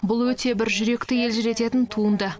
бұл өте бір жүректі елжірететін туынды